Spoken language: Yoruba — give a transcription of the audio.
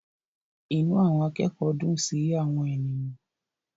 Inú àwọn akẹ́kọ̀ọ́ dùn sí àwọn ènìyàn.